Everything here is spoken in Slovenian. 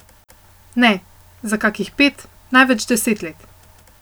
Ne, za kakih pet, največ deset let.